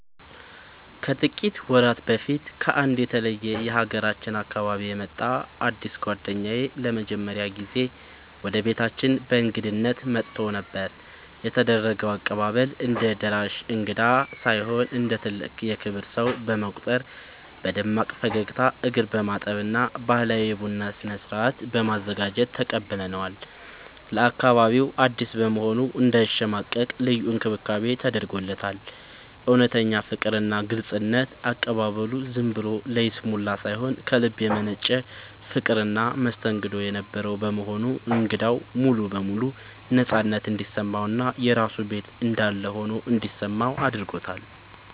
ከጥቂት ወራት በፊት ከአንድ የተለየ የሀገራችን አካባቢ የመጣ አዲስ ጓደኛዬ ለመጀመሪያ ጊዜ ወደ ቤታችን በእንግድነት መጥቶ ነበር። የተደረገው አቀባበል፦ እንደ ደራሽ እንግዳ ሳይሆን እንደ ትልቅ የክብር ሰው በመቁጠር በደማቅ ፈገግታ፣ እግር በማጠብ እና ባህላዊ የቡና ስነ-ስርዓት በማዘጋጀት ተቀብለነዋል። ለአካባቢው አዲስ በመሆኑ እንዳይሸማቀቅ ልዩ እንክብካቤ ተደርጎለታል። እውነተኛ ፍቅርና ግልጽነት፦ አቀባበሉ ዝም ብሎ ለይስሙላ ሳይሆን ከልብ የመነጨ ፍቅርና መስተንግዶ የነበረው በመሆኑ እንግዳው ሙሉ በሙሉ ነፃነት እንዲሰማውና የራሱ ቤት እንዳለ ሆኖ እንዲሰማው አድርጎታል።